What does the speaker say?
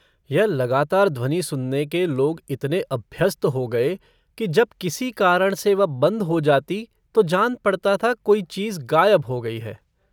यह लगातार ध्वनि सुनने के लोग इतने अभ्यस्त हो गए कि जब किसी कारण से वह बन्द हो जाती तो जान पड़ता था कोई चीज गायब हो गयी है।